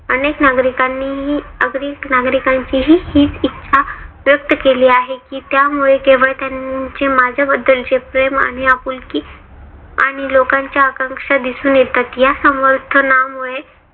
अनेक नागरिकांनीही अनेक नागरिकांचीही हीच इच्छा व्यक्त केली आहे. कि त्यामुळे केवळ त्यांचे माझ्याबद्दलचे प्रेम आणि आपुलकी आणि लोकांच्या आकाक्षा दिसून येतात. या समर्थनामुळे